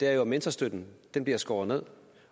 er jo at mentorstøtten bliver skåret ned